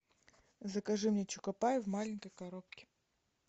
закажи мне чокопай в маленькой коробке